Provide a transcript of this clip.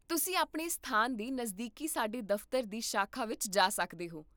ਤੁਸੀਂ ਆਪਣੇ ਸਥਾਨ ਦੇ ਨਜ਼ਦੀਕ ਸਾਡੇ ਦਫ਼ਤਰ ਦੀ ਸ਼ਾਖਾ ਵਿੱਚ ਜਾ ਸਕਦੇ ਹੋ